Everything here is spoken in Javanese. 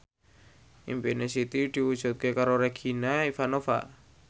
impine Siti diwujudke karo Regina Ivanova